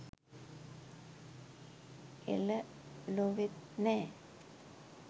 එල! ලොවෙත් නෑ